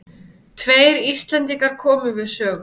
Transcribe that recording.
Tveir Íslendingar komu við sögu.